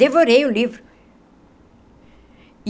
Devorei o livro.